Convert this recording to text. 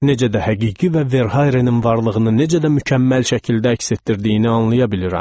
Necə də həqiqi və Verhayrenin varlığını necə də mükəmməl şəkildə əks etdirdiyini anlaya bilirəm.